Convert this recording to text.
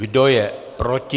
Kdo je proti?